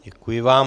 Děkuji vám.